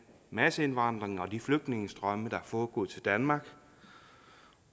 masseindvandring og de flygtningestrømme der er foregået til danmark